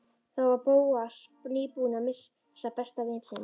Þá var Bóas nýbúinn að missa besta vin sinn.